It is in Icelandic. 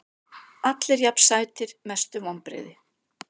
Allir jafn sætir Mestu vonbrigði?